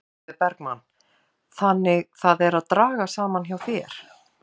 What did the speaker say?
Sólveig Bergmann: Þannig það er að draga saman hjá þér?